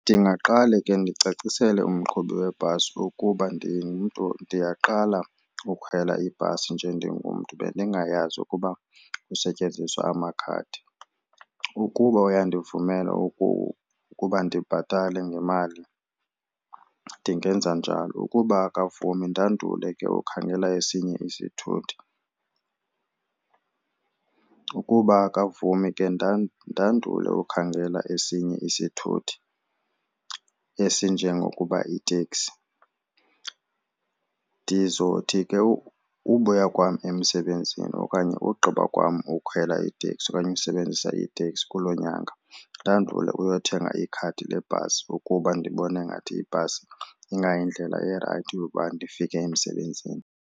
Ndingaqale ke ndicacisele umqhubi webhasi ukuba ndingumntu ndiyaqala ukhwela ibhasi nje ndingumntu bendingayazi ukuba kusetyenziswe amakhadi. Ukuba uyandivumela ukuba ndibhatale ngemali ndingenza njalo, ukuba akavumi ndandule ke ukhangela esinye isithuthi. Ukuba akavumi ke ndandule ukhangela esinye isithuthi esinjengokuba iteksi. Ndizothi ke ubuya kwam emsebenzini okanye ugqiba kwam ukukhwela iteksi okanye usebenzisa iteksi kulo nyanga ndandule uyothenga ikhadi lebhasi ukuba ndibone ngathi ibhasi ingayindlela erayithi yokuba ndifike emsebenzini.